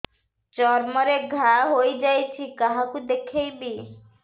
ଚର୍ମ ରେ ଘା ହୋଇଯାଇଛି କାହାକୁ ଦେଖେଇବି